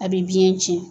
A bɛ biɲɛ ciɲɛ